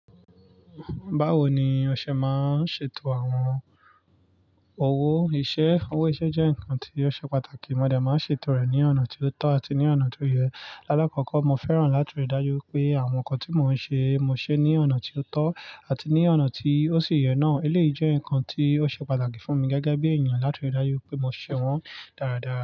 Báwo ni ọṣẹ máa ń ṣètò àwọn owó iṣẹ́? Owó iṣẹ́ jẹ́ nǹkan tí ó ṣe pàtàkì, mo de máa ń ṣètò rẹ̀ ní ọ̀nà tí ó tọ́ àti ní ọ̀nà tí ó yẹ. Láàkọ́kọ́, mo fẹ́ràn láti rí dájú pé àwọn nǹkan tí mo ń ṣe, mo ṣe é ní ọ̀nà tí ó tọ́ àti ní ọ̀nà tí ó sì yẹ náà. Eléyì jẹ́ nǹkan tí ó ṣe pàtàkì fún mi gẹ́gẹ́ bí èèyàn láti rí dájú pé mo n ṣe wọ́n dáradára.